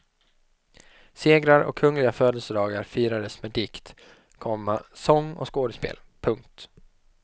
Segrar och kungliga födelsedagar firades med dikt, komma sång och skådespel. punkt